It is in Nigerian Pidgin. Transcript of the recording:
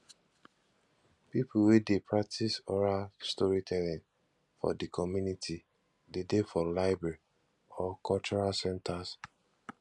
pipo wey de practice oral storytelling for di community de dey for library or cultural centers